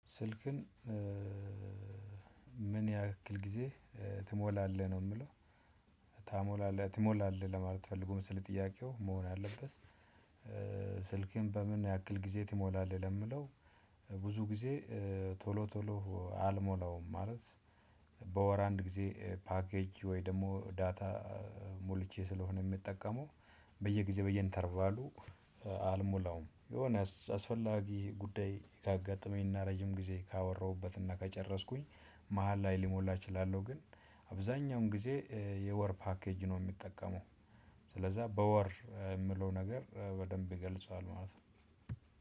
ስልክን ምን ያክል ጊዜ ትሞላለህ ነው? እምለው ታሞላለህ ትሞላለህ ለማለት ፈልጎ መስለኝ ጥያቄው መሆን አለበት። ስልክህን በምን ያክል ጊዜ ትሞላለህ? ለሚለው ብዙ ጊዜ ቶሎ ቶሎ አልሞላውም ማለት። በወር አንድ ጊዜ ፓኬጅ ወይ ደግሞ ዳታ ሞልቼ ስለሆነ እሚጠቀመው በየጊዜው በየኢንተርቫሉ አልሞላውም። የሆነ አስፈላጊ ጉዳይ ካጋጠመኝና ረጅም ጊዜ ካወራሁበትና ከጨረስኩኝ መሃል ላይ ሊሞላ እችላለሁ። ግን አብዛኛውን ጊዜ የወር ፓኬጅ ነው እሚጠቀመው። ስለዛ በወር እሚለው ነገር በደንብ ይገልጸዋል ማለት ነው።